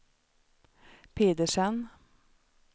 Pedersen